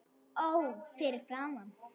Ó fyrir framan